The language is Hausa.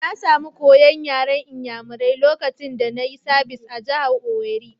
Na samu koya'n yaren n'yamarai lokacin da na yi sabis a'jihar Owerri.